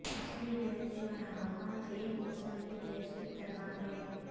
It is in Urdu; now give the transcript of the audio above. اصلی گیس جو اعمال ایک مثالی گیس کی طرح ہے